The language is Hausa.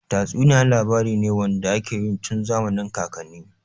Tatsuniya labari ne wanda ake yi tun zamanin kakanni.